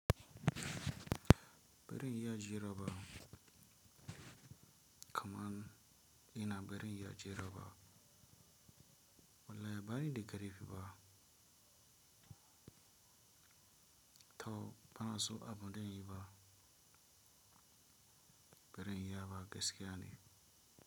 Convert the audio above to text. Barin iya jira ba, kaman ina barin iya jira ba, wallahi bani da karfi fa. To bana so abu dan yi ba. Baren iya ba gaskiya ne.